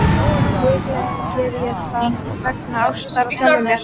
Líklega geri ég það vegna ástar á sjálfum mér.